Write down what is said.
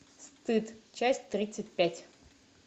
стыд часть тридцать пять